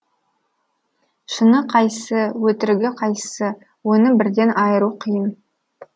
шыны қайсы өтірігі қайсы оны бірден айыру қиын